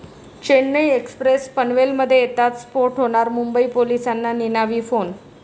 Chennai express पनवेलमध्ये येताच स्फोट होणार, मुंबई पोलिसांना निनावी फोन